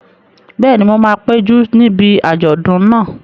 Bẹ́ẹ̀ni, mo máa péjú níbi àjọ̀dún náà